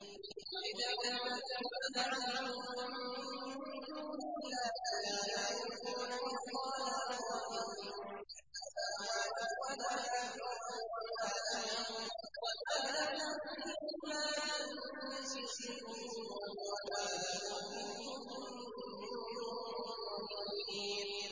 قُلِ ادْعُوا الَّذِينَ زَعَمْتُم مِّن دُونِ اللَّهِ ۖ لَا يَمْلِكُونَ مِثْقَالَ ذَرَّةٍ فِي السَّمَاوَاتِ وَلَا فِي الْأَرْضِ وَمَا لَهُمْ فِيهِمَا مِن شِرْكٍ وَمَا لَهُ مِنْهُم مِّن ظَهِيرٍ